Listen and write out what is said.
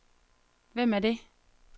Hvem er det